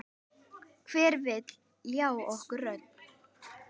Hver vill ljá okkur rödd?